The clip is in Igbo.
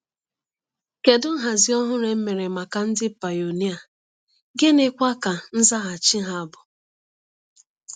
Kedu nhazi ọhụrụ e mere maka ndị pionia, gịnịkwa ka nzaghachi ha bụ?